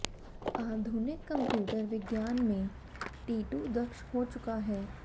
आधुनिक कंप्यूटर विज्ञान में टीटू दक्ष हो चुका था